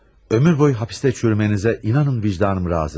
Ömür boyu hapistə çürüməyinizə inanın, vicdanım razı deyil.